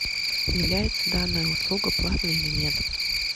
является данная услуга платной или нет